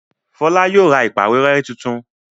Fola yóò rà ìpàwérẹ́ títún